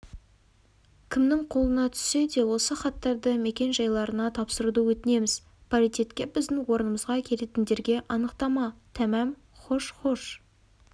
кімнің қолына түссе де осы хаттарды мекен-жайларына тапсыруды өтінеміз паритетке біздің орнымызға келетіндерге анықтама тәмәм хош-хош